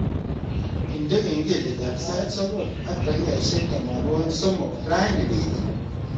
Indene kengeletab sait sogol ak takikaishek tamanwogik somok raini beet